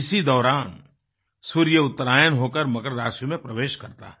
इसी दौरान सूर्य उत्तरायण होकर मकर राशि में प्रवेश करता है